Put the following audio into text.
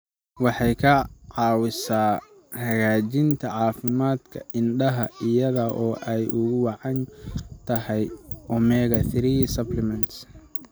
Waxay caawisaa hagaajinta caafimaadka indhaha iyada oo ay ugu wacan tahay omega-3 supplements.